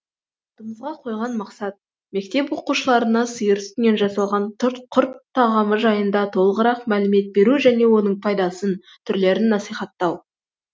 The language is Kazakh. алдымызға қойған мақсат мектеп оқушыларына сиыр сүтінен жасалған құрт тағамы жайында толығырақ мәлімет беру және оның пайдасын түрлерін насихаттау